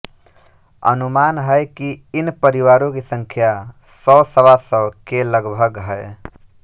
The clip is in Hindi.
अनुमान है कि इन परिवारों की संख्या सौसवा सौ के लगभग है